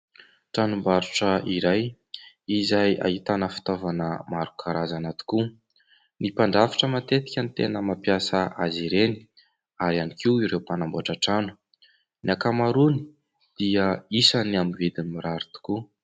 Tranom_barotra iray izay ahitana fitaovana maro karazana tokoa. Ny mpandrafitra matetika no tena mampiasa azy ireny ary ihany koa ireo mpanamboatra trano. Ny ankamarony dia misy amin'ny vidiny mirary tokoa.